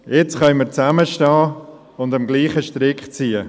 Jetzt können wir zusammenstehen und am selben Strick ziehen.